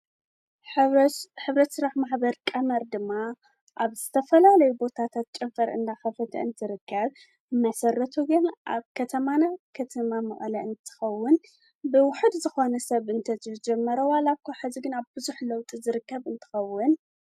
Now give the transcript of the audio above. ዕቋር፣ ልቓሕ፣ ካልእ ናይ ባንክ ኣገልግሎት ዝህባ ፋይናንሳዊ ትካላት እየን። ባንክታት ብንግዳዊ መሰረት ክሰርሓ እንከለዋ፡ ሕብረት ስራሕ ማሕበራት ድማ ብኣባላተን ዝውነናን ዝቆጻጸራን እየን። ክልቲኦም ንፋይናንሳዊ ድሌታት ውልቀሰባት፡ ትካላት ንግድን ማሕበረሰባትን ይድግፉ።